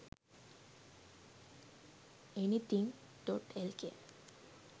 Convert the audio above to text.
anything.lk